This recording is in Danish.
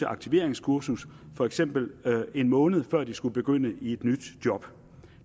aktiveringskursus for eksempel en måned før de skulle begynde i et nyt job